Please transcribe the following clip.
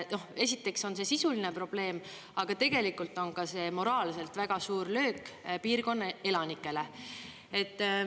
Esiteks on see sisuline probleem, aga tegelikult on ka see moraalselt väga suur löök piirkonna elanikele.